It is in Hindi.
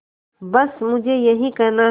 बस मुझे यही कहना है